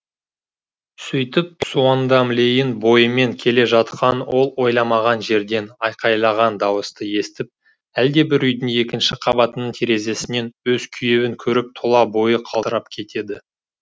сөйтіп суондам лейн бойымен келе жатқан ол ойламаған жерден айқайлаған дауысты естіп әлдебір үйдің екінші қабатының терезесінен өз күйеуін көріп тұла бойы қалтырап кетеді